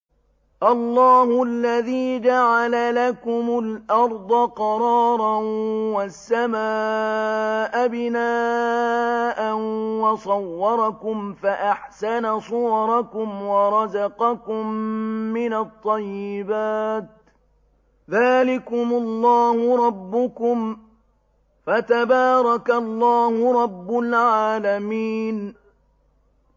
اللَّهُ الَّذِي جَعَلَ لَكُمُ الْأَرْضَ قَرَارًا وَالسَّمَاءَ بِنَاءً وَصَوَّرَكُمْ فَأَحْسَنَ صُوَرَكُمْ وَرَزَقَكُم مِّنَ الطَّيِّبَاتِ ۚ ذَٰلِكُمُ اللَّهُ رَبُّكُمْ ۖ فَتَبَارَكَ اللَّهُ رَبُّ الْعَالَمِينَ